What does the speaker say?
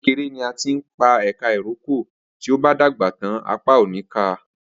Ati kekere ni a tin peka iroko, ti o ba dagba tan apa o ni ka.